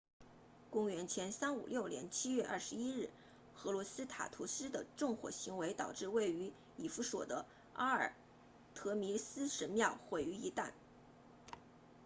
公元前356年7月21日赫洛斯塔图斯 herostratus 的纵火行为导致位于以弗所 ephesus 的阿尔忒弥斯神庙毁于一旦